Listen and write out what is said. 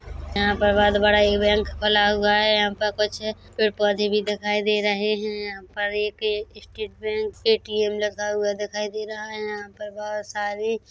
यहाँ पर बहुत बड़ा इवेंट खुला हुआ है यहां पर कुछ पेड़ पौधे भी दिखाई दे रहे हैं यहाँ पर एक स्टेट बैंक पर ए_टी_एम लिखा हुआ दिखाई दे रहा है यहाँ पर बहुत सारे --